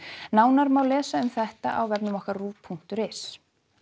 nánar má lesa um þetta á ruv punktur is